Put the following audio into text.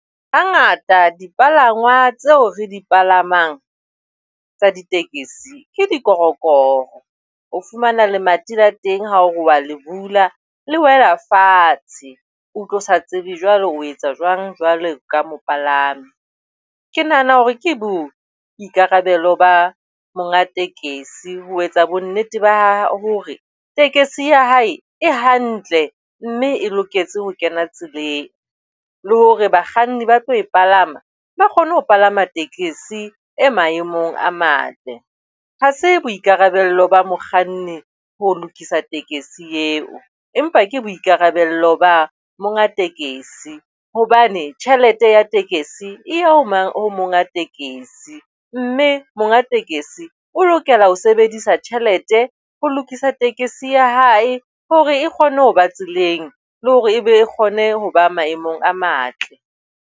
Hangata dipalangwang tseo re di palamang tsa ditekesi ke dikorokoro. O fumana lemati la teng ha o a le bula le wena fatshe, o utlwe o sa tsebe jwalo o etsa jwang jwalo ka mopalami. Ke nahana hore ke boikarabelo ba monga tekesi ho etsa bonnete ba hore tekesi ya hae e hantle mme e loketse ho kena tseleng le hore bakganni ba tlo e palama ba kgone ho palama tekesi e maemong a matle. Ha se boikarabelo ba mokganni ho lokisa tekesi eo, empa ke boikarabello ba monga tekesi hobane tjhelete ya tekesi e ya mang ho monga tekesi, mme monga tekesi o lokela ho sebedisa tjhelete ho lokisa ya hae hore e kgone ho ba tseleng le hore e be kgone ho ba maemong a matle.